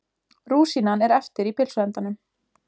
Rúsínan er eftir í pylsuendanum.